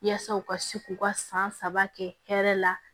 Yaasa u ka se k'u ka san saba kɛ hɛrɛ la